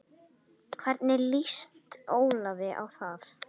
Hvernig lýst Ólafi á það?